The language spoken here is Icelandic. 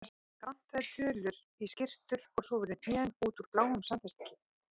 Það vantaði tölur í skyrtur og svo voru hnén út úr á bláum samfestingi.